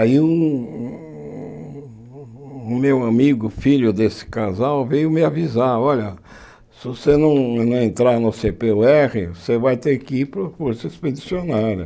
Aí um o meu amigo, filho desse casal, veio me avisar, olha, se você não não entrar no cê pê ú érre, você vai ter que ir para a Força Expedicionária.